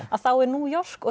að þá er New York og